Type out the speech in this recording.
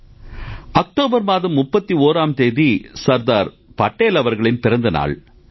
sir October மாதம் 31ஆம் தேதி சர்தார் படேல் அவர்களின் பிறந்த நாள்